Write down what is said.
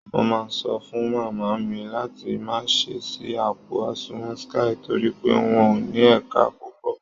Mo máa sọ fún màmá mi láti má ṣe ṣí àpò àsùnwọ̀n Skye torí pé wọn ò ní ẹ̀ka púpọ̀